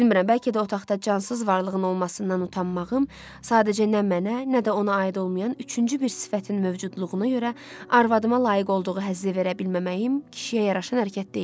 Bilmirəm, bəlkə də otaqda cansız varlığın olmasından utanmağım, sadəcə nə mənə, nə də ona aid olmayan üçüncü bir sifətin mövcudluğuna görə arvadıma layiq olduğu həzzi verə bilməməyim kişiyə yaraşan hərəkət deyildi.